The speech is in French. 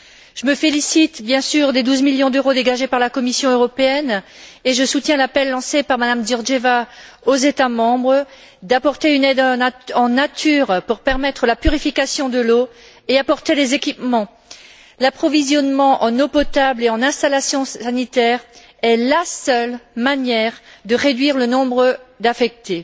Je me félicite bien sûr des 12 millions d'euros dégagés par la Commission européenne, et je soutiens l'appel lancé par Mme Georgieva aux États membres en vue d'apporter une aide en nature pour permettre la purification de l'eau et en vue de fournir des équipements. L'approvisionnement en eau potable et en installations sanitaires est la seule manière de réduire le nombre d'infectés.